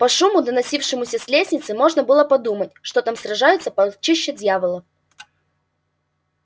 по шуму доносившемуся с лестницы можно было подумать что там сражаются полчища дьяволов